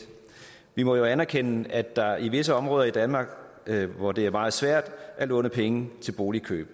vi må jo anerkende at der er visse områder i danmark hvor det er meget svært at låne penge til boligkøb